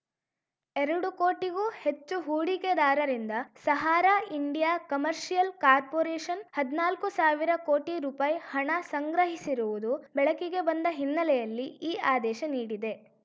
ಎರಡು ಕೋಟಿಗೂ ಹೆಚ್ಚು ಹೂಡಿಕೆದಾರರಿಂದ ಸಹಾರಾ ಇಂಡಿಯಾ ಕಮರ್ಷಿಯಲ್‌ ಕಾರ್ಪೋರೇಷನ್‌ ಹದ್ನಾಲ್ಕು ಸಾವಿರ ಕೋಟಿ ರುಪಾಯಿ ಹಣ ಸಂಗ್ರಹಿಸಿರುವುದು ಬೆಳಕಿಗೆ ಬಂದ ಹಿನ್ನೆಲೆಯಲ್ಲಿ ಈ ಆದೇಶ ನೀಡಿದೆ